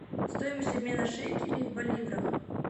стоимость обмена шекелей в боливрах